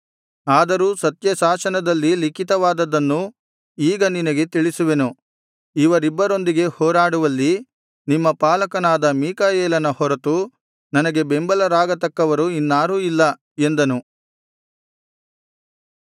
ಆದರೂ ಸತ್ಯಶಾಸನದಲ್ಲಿ ಲಿಖಿತವಾದದ್ದನ್ನು ಈಗ ನಿನಗೆ ತಿಳಿಸುವೆನು ಇವರಿಬ್ಬರೊಂದಿಗೆ ಹೋರಾಡುವಲ್ಲಿ ನಿಮ್ಮ ಪಾಲಕನಾದ ಮೀಕಾಯೇಲನ ಹೊರತು ನನಗೆ ಬೆಂಬಲರಾಗತಕ್ಕವರು ಇನ್ನಾರೂ ಇಲ್ಲ ಎಂದನು